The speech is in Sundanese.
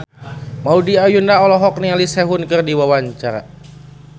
Maudy Ayunda olohok ningali Sehun keur diwawancara